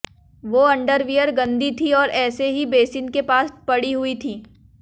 वो अंडरवियर गंदी थी और ऐसे ही बेसिन के पास पड़ी हुई थी